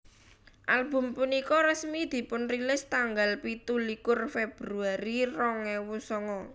Album punika resmi dipunrilis tanggal pitu likur Februari rong ewu songo